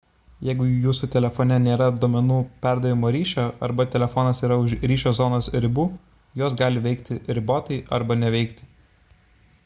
jeigu jūsų telefone nėra duomenų perdavimo ryšio arba telefonas yra už ryšio zonos ribų jos gali veikti ribotai arba neveikti